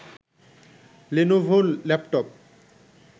Lenovo laptop